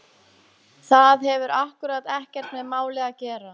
Það hefur akkúrat ekkert með málið að gera!